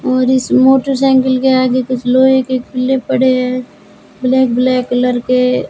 और इस motorcycle के आगे कुछ लोहे के खुले पड़े है ब्लैक ब्लैक कलर के--